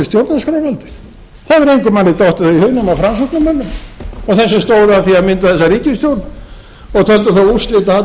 stjórnarskrárvaldið það hefur engum mönnum dottið það í hug nema framsóknarmönnum og þeim sem stóðu að því að mynda þessa ríkisstjórn og töldu það úrslitaatriði til